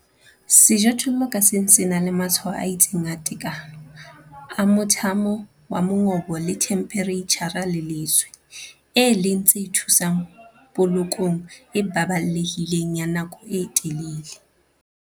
Sejothollo ka seng se na le matshwao a itseng a tekano, a mothamo wa mongobo le themphereitjhara le leswe, e leng tse thusang polokong e baballehileng ya nako e telele.